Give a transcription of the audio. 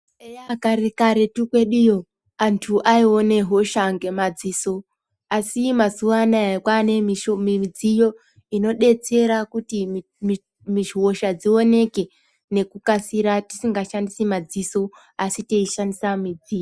Eya kare karetu kwedu yo antu ayione hosha ngemadziso asi mazuva anoaya kwavanemudziyo inodetsera kuti hosha dzioneke nekukasira tisingashandisi madziso asi yeyishandisa mudziyo.